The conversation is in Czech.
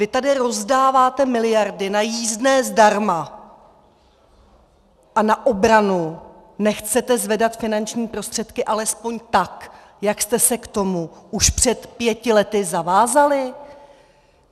Vy tady rozdáváte miliardy na jízdné zdarma a na obranu nechcete zvedat finanční prostředky alespoň tak, jak jste se k tomu už před pěti lety zavázali?